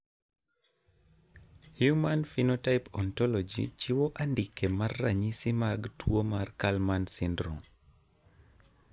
Human Phenotype Ontology chiwo andike mar ranyisi mag tuwo mar Kallmann syndrome.